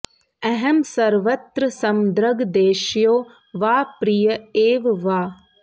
अहं सर्वत्र समदृग् द्वेष्यो वा प्रिय एव वा